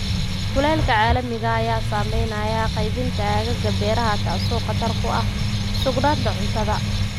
Kulaylka caalamiga ah ayaa saameynaya qaybinta aagagga beeraha, taasoo khatar ku ah sugnaanta cuntada.